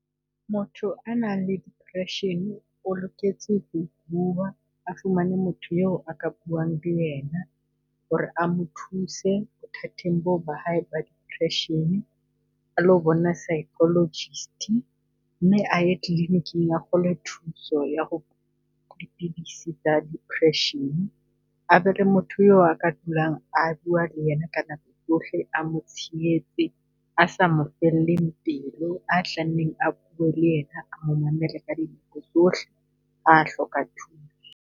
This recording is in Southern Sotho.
Motho a nang le depression-e o loketse ho bua, a fumane motho eo a ka buang le ena ho re a mo thuse bothateng boo ba hae ba depression a lo bona psychologist. Mme aye kliniking a thole thuso ya ho dipidisi tsa depression. A be le motho aka dulang a bua le ena ka nako tsohle, a mo tshehetse, a sa mo felleng pelo, a tla nneng a bue le ena, a mo mamele ka dinako tsohle, ha hloka thuso.